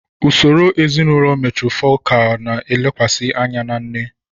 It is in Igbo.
Usoro ezinụlọ matrifocal na-elekwasị anya na nne.